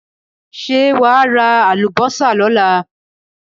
Ṣé wà á ra àlùbọ́sà lọ́la?